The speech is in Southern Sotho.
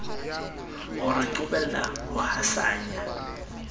o re qobella ho hasanya